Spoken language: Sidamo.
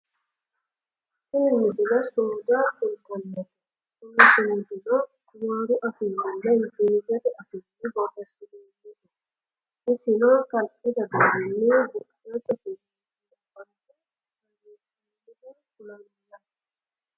tini misile sumuda kultannote kuni sumudino amaaru afiinninna ingilizete afiinni borreessinoonniho isimo kalqete deerrinni buqqete keeraanchimma barra ayeerrinsanniha kulanoho yaate